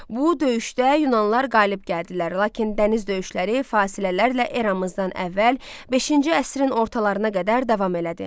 Bu döyüşdə yunanlılar qalib gəldilər, lakin dəniz döyüşləri fasilələrlə eramızdan əvvəl V əsrin ortalarına qədər davam elədi.